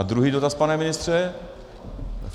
A druhý dotaz, pane ministře.